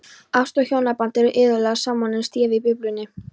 Ást og hjónaband eru iðulega samofin stef í Biblíunni.